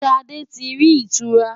Ṣadé ti rí ìtura.